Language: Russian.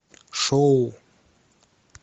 шоу